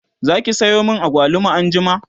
Zaki Sayo min agwaluma anjima?